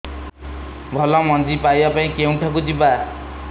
ଭଲ ମଞ୍ଜି ପାଇବା ପାଇଁ କେଉଁଠାକୁ ଯିବା